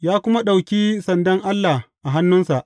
Ya kuma ɗauki sandan Allah a hannunsa.